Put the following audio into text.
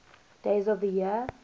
days of the year